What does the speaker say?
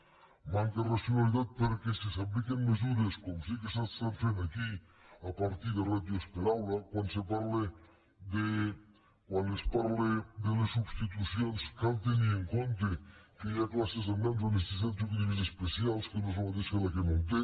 li manca racionalitat perquè si s’apliquen mesures com sí que s’estan fent aquí a partir de ràtios per aula quan es parla de les substitucions cal tenir en compte que hi ha classes amb nens amb necessitats educatives especials que no és el mateix que la que no en té